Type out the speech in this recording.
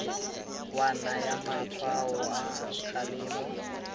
wa naya matshwao a kgalemo